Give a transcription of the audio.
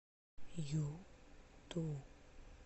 юту